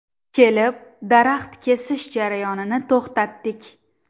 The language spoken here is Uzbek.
Kelib, daraxt kesish jarayonini to‘xtatdik.